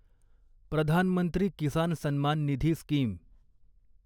Pradhan Mantri Kisan Sanman Nidhi scheme